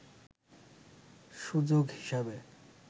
সুযোগ হিসেবে